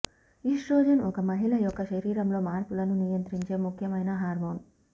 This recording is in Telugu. ఈస్ట్రోజెన్ ఒక మహిళ యొక్క శరీరంలో మార్పులను నియంత్రించే ముఖ్యమైన హార్మోన్